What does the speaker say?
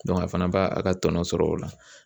a fana b'a a ka tɔnɔ sɔrɔ o la